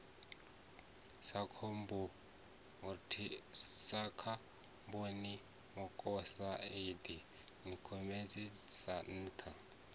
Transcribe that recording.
sa khabonimokosaidi nikhotini na thaa